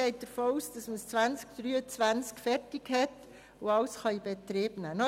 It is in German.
Man geht davon aus, dass die Sanierung 2023 fertiggestellt sein wird und der Betrieb aufgenommen werden kann.